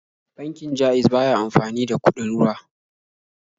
Bankin Ja'iz ba ya amfani da kuɗin ruwa.